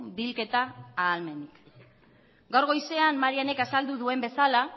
bilketa ahalmenik gaur goizean marianek azaldu duen bezala